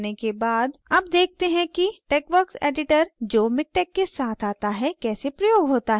अब देखते हैं कि texworks editor जो miktex के साथ आता है कैसे प्रयोग होता है